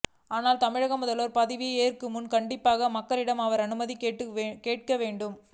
ஆனால் தமிழக முதல்வர் பதவியை ஏற்கும் முன் கண்டிப்பாக மக்களிடம் அவர்கள் அனுமதி கேட்க வேண்டும்